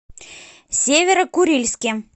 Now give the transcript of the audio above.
северо курильске